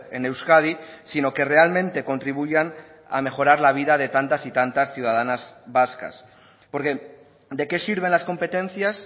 en euskadi sino que realmente contribuyan a mejorar la vida de tantas y tantas ciudadanas vascas porque de qué sirven las competencias